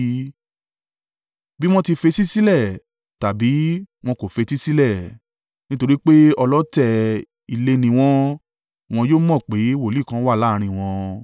Bí wọn fetísílẹ̀ tàbí wọn kò fetísílẹ̀ nítorí pé wọ́n ọlọ̀tẹ̀ ilé ni wọ́n—wọn yóò mọ̀ pé wòlíì kan wà láàrín wọn.